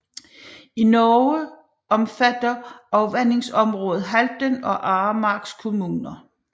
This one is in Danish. I Norge omfatter afvandingsområdet Halden og Aremarks kommuner